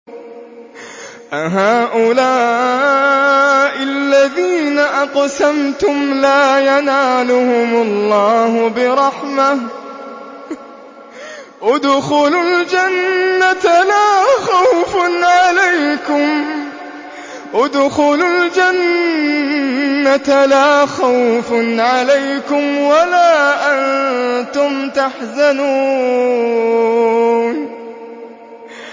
أَهَٰؤُلَاءِ الَّذِينَ أَقْسَمْتُمْ لَا يَنَالُهُمُ اللَّهُ بِرَحْمَةٍ ۚ ادْخُلُوا الْجَنَّةَ لَا خَوْفٌ عَلَيْكُمْ وَلَا أَنتُمْ تَحْزَنُونَ